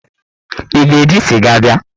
Ị ga-eji sịga bịa?